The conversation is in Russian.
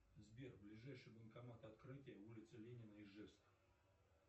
сбер ближайший банкомат открытый улица ленина ижевск